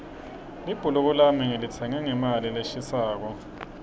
libhuluko lami ngilitsenge ngemali leshisako